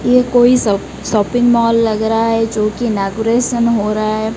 ये कोई श शॉपिंग मॉल लग रहा है जो कि इनोग्रेशन हो रहा है।